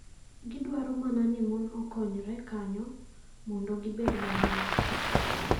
"Giduaro mana ni mon okonyre kanyo mondo gibed mang`eny."